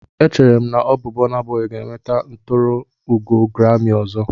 Echere m na ọ bụ Burna Boy ga-enweta nturuugo grami ọzọ.